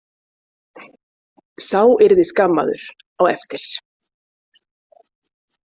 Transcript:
Sá yrði skammaður á eftir.